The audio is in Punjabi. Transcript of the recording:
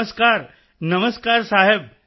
ਨਮਸਕਾਰ ਨਮਸਕਾਰ ਸਾਹਿਬ